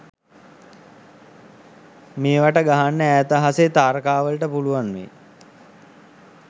මේවට ගහන්න ඈත අහසෙ තාරකා වලට පුලුවන් වෙයි